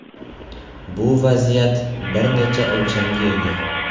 Bu vaziyat bir necha o‘lchamga ega.